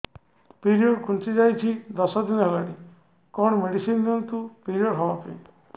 period ଘୁଞ୍ଚି ଯାଇଛି ଦଶ ଦିନ ହେଲାଣି କଅଣ ମେଡିସିନ ଦିଅନ୍ତୁ ପିରିଅଡ଼ ହଵା ପାଈଁ